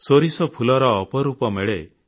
ସୋରିଷ ଫୁଲର ଅପରୂପ ମେଳେ